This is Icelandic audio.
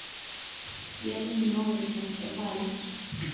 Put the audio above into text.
Jörðin er móðir þess og faðir.